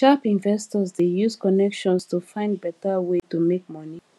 sharp investors dey use connections to find better way to make money